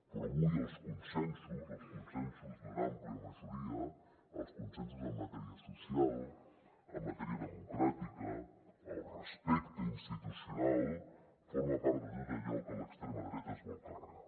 però avui els consensos els consensos d’una àmplia majoria els consensos en matèria social en matèria democràtica el respecte institucional forma part de tot allò que l’extrema dreta es vol carregar